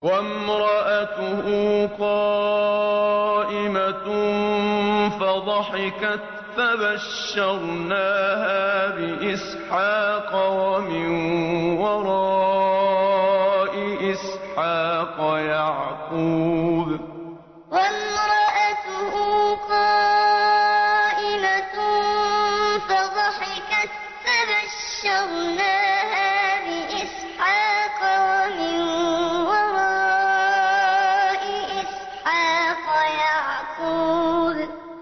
وَامْرَأَتُهُ قَائِمَةٌ فَضَحِكَتْ فَبَشَّرْنَاهَا بِإِسْحَاقَ وَمِن وَرَاءِ إِسْحَاقَ يَعْقُوبَ وَامْرَأَتُهُ قَائِمَةٌ فَضَحِكَتْ فَبَشَّرْنَاهَا بِإِسْحَاقَ وَمِن وَرَاءِ إِسْحَاقَ يَعْقُوبَ